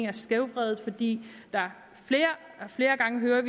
er skævvredet fordi vi flere gange hører